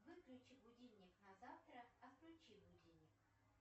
выключи будильник на завтра отключи будильник